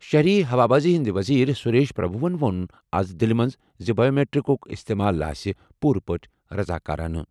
شہری ہوابازی وزیرِ سریش پربھوَن ووٚن آز دِلہِ منٛز زِ بایومیٹرکُک استعمال آسہِ پوٗرٕ پٲٹھۍ رضاکارانہٕ۔